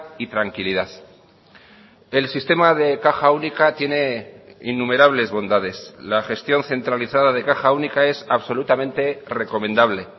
y tranquilidad el sistema de caja única tiene innumerables bondades la gestión centralizada de caja única es absolutamente recomendable